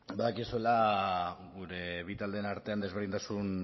badakizula gure bi taldeen artean desberdintasun